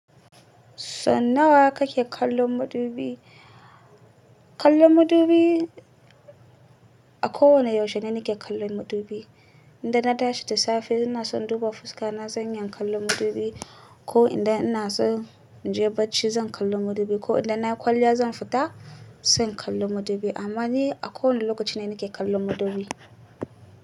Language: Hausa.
So nawa kake kallon madubi? Kallon madubi, a kowane yaushe ne nake kallon madubi. Indai na tashi da safe, in ina son in duba fuska na, zan iyan kallon madubi, ko inda ina so in je bacci zan kallo madubi, ko inda na kwalliya zan fita, se in kallo madubi. Amma ni a kowane lokaci ne, nake kallon madubi.